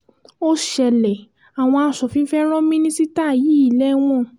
ó ṣẹlẹ̀ àwọn aṣòfin fẹ́ẹ́ ran mínísítà yìí lẹ́wọ̀n